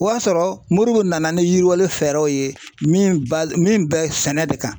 O y'a sɔrɔ Moribo nana ni yiriwali fɛɛrɛw ye min ba min bɛ sɛnɛ de kan.